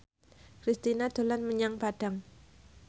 Kristina dolan menyang Padang